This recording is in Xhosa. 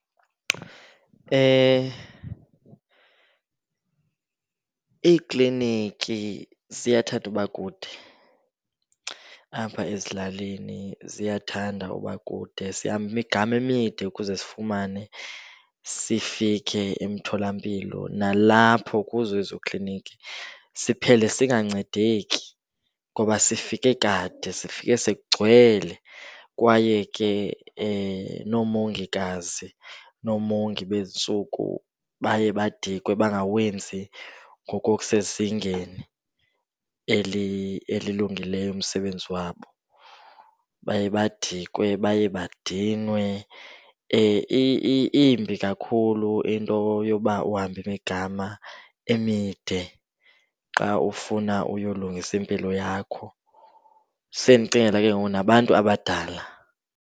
Iikliniki ziyathanda uba kude apha ezilalini, ziyathanda uba kude. Sihambe imigama emide ukuze sifumane sifike emtholampilo. Nalapho kuzo ezo kliniki siphele singancedeki ngoba sifike kade, sifike sekugcwele kwaye ke noomongikazi, noomongi bezi ntsuku baye badikwe bangawenzi ngokokusezingeni elilungileyo umsebenzi wabo. Baye badikwe baye badinwe. Imbi kakhulu into yoba uhambe imigama emide xa ufuna uyolungisa impilo yakho, sendicingela ke ngoku nabantu abadala.